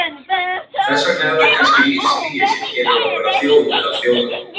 Þess vegna er það kannski lífslygi sem gerir okkur að þjóð meðal þjóða.